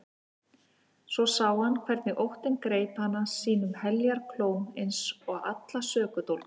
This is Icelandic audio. Svo sá hann hvernig óttinn greip hana sínum heljarklóm eins og alla sökudólga.